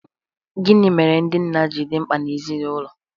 Gịnị mere ndị nna ji dị mkpa n’ezinụlọ?